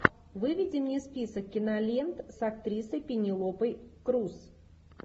выведи мне список кинолент с актрисой пенелопой крус